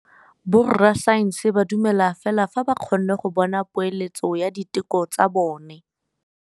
Borra saense ba dumela fela fa ba kgonne go bona poeletsô ya diteko tsa bone.